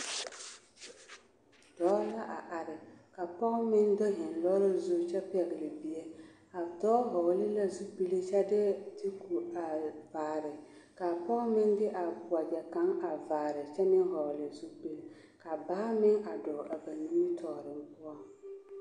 Dɔɔ la a are ka pɔge meŋ do heŋ lɔɔre zuŋ kyɛ pɛgele bie, a dɔɔ vɔgele la zupili kyɛ de duku a vaare ka a pɔge meŋ de a wegyɛ kaŋ a vaare kyɛ meŋ vɔgele zupili ka baa meŋ a dɔɔ a ba nimitɔɔre poɔŋ.